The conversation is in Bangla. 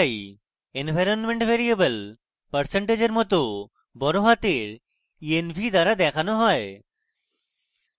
environment ভ্যারিয়েবল পার্সেন্টেজের % পর বড়হাতের env দ্বারা দেখানো হয়